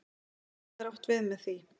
En hvað er átt við með því?